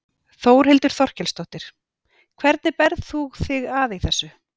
Þórhildur Þorkelsdóttir: Hvernig berð þú þig að í þessu?